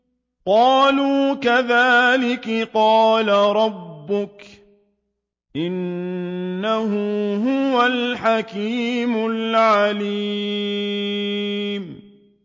قَالُوا كَذَٰلِكِ قَالَ رَبُّكِ ۖ إِنَّهُ هُوَ الْحَكِيمُ الْعَلِيمُ